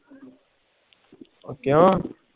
ਉਹ ਕਿਉ